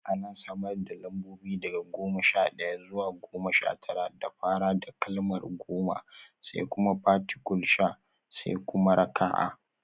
An samar da lambobi daga goma sha ɗaya zuwa goma sha tara da fara da kalmar goma (goma), sai kuma particule sha (da), sai kuma raka'a: